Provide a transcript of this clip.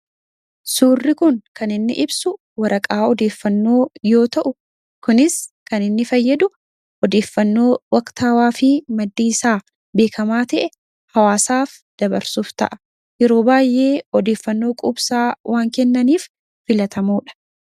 Suurri kun kan inni ibsu waraqaa odeeffannoo yoo ta'u, kunis kan inni fayyadu odeeffannoo waqtaawwaa fi maddi isaa beekamaa ta'e hawaasaaf dabarsuuf ta'a. Yeroo baay'ee odeeffannoo quubsaa waan kennaniif filatamoodha.